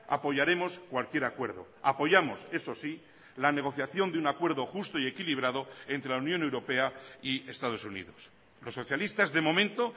apoyaremos cualquier acuerdo apoyamos eso sí la negociación de un acuerdo justo y equilibrado entre la unión europea y estados unidos los socialistas de momento